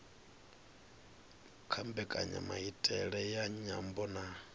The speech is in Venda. kha mbekanyamaitele ya nyambo na